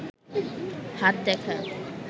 হাত দেখা